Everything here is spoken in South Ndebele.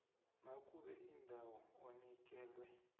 nakube indawo onikelwe